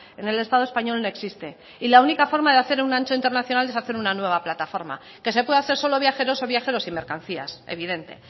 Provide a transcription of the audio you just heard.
en el estado español no existe y la única forma de hacer un ancho internacional es hacer una nueva plataforma que se puede hacer solo viajeros o viajeros y mercancías evidente